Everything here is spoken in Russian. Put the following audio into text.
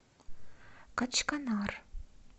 качканар